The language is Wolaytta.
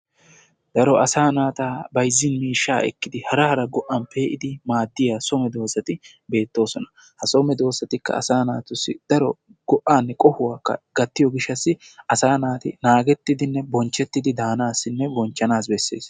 daro asa naata bayzzin miishsha ekkid bayzzin miishshata ekkid hara hara go'a pe'iddi maaddiya so medoosati bettoosona. ha so medoosati go'anne qohuwaakka gattiyo gishassi asaa naati naagetidinne bonchchetidi daanassi bessees.